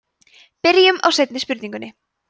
byrjum á seinni spurningunni